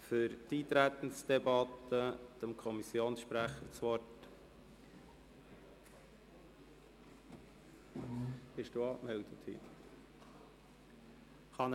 Für die Eintretensdebatte hat als Kommissionssprecher Grossrat Wenger das Wort.